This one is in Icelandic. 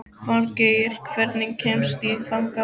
Falgeir, hvernig kemst ég þangað?